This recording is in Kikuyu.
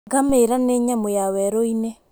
Ngamĩra nĩ nyamũ ya werũ-inĩ.